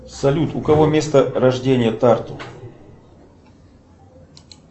салют у кого место рождения тарту